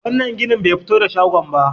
wannan ginin ba fito da shagon ba